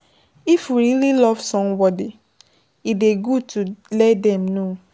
if we really love somebody, e dey good to let am know